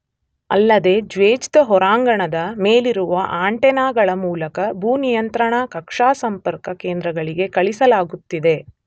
ಅಲ್ಲದೇ ಜ್ವೆಜ್ದ ಹೊರಾಂಗಣದ ಮೇಲಿರುವ ಆಂಟೆನಗಳ ಮೂಲಕ ಭೂ ನಿಯಂತ್ರಣಾ ಕಕ್ಷಾ ಸಂಪರ್ಕ ಕೇಂದ್ರಗಳಿಗೆ ಕಳಿಸಲಾಗುತ್ತಿದೆ